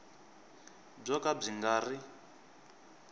byo ka byi nga ri